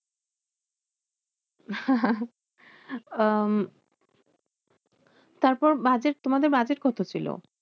আহ তারপর budget তোমাদের budget কত ছিল?